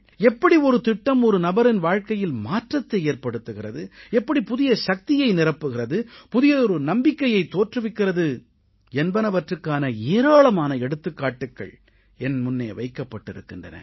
எப்படி ஒரு திட்டம் ஒரு நபரின் வாழ்கையில் மாற்றத்தை ஏற்படுத்துகிறது எப்படி புதிய சக்தியை நிரப்புகிறது புதியதொரு நம்பிக்கையை தோற்றுவிக்கிறது என்பனவுக்கான ஏராளமான எடுத்துக்காட்டுகள் என் முன்னே வைக்கப்பட்டிருக்கின்றன